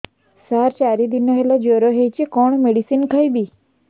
ସାର ଚାରି ଦିନ ହେଲା ଜ୍ଵର ହେଇଚି କଣ ମେଡିସିନ ଖାଇବି